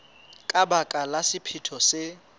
ka baka la sephetho se